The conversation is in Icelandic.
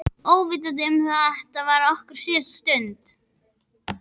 Óvitandi um að þetta var okkar síðasta stund.